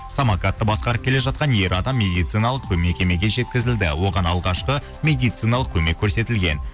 самокатты басқарып келе жатқан ер адам медициналық мекемеге жеткізілді оған алғашқы медициналық көмек көрсетілген